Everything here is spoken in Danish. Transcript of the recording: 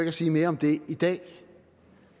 at sige mere om det i dag